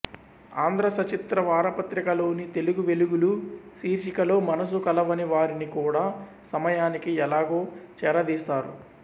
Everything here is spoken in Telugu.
ఆంధ్రసచిత్ర వారపత్రికలోని తెలుగువెలుగులు శీర్షికలో మనసు కలవని వారిని కూడా సమయానికి ఎలాగో చేరదీస్తారు